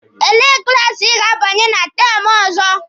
Elee klaasi Ị ga-abanye na teemụ ọzọ?